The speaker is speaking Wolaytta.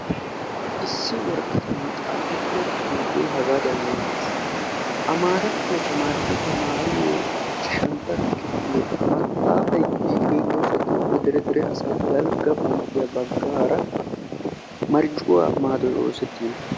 Issi woraqatan xaafettidda xuufe ichchashshantta kifiliya luxiyo luxetta maxafa besees.